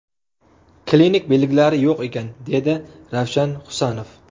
Klinik belgilari yo‘q ekan”, dedi Ravshan Husanov.